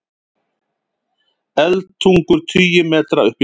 Eldtungur tugi metra upp í loft